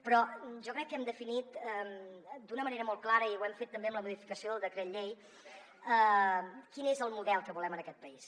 però jo crec que hem definit d’una manera molt clara i ho hem fet també amb la modificació del decret llei quin és el model que volem en aquest país